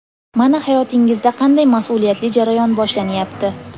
Mana hayotingizda qanday mas’uliyatli jarayon boshlanyapti.